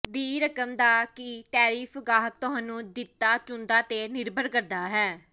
ਦੀ ਰਕਮ ਦਾ ਕੀ ਟੈਰਿਫ ਗਾਹਕ ਤੁਹਾਨੂੰ ਦਿੱਤਾ ਚੁਣਦਾ ਤੇ ਨਿਰਭਰ ਕਰਦਾ ਹੈ